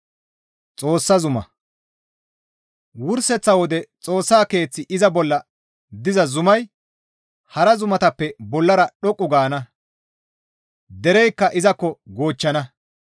Wurseththa wode Xoossa keeththi iza bolla diza zumay hara zuma ubbaafe aadhdhi beettana; hara zumatappe bollara dhoqqu gaana; dereykka izakko goochchana.